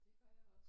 Det gør jeg også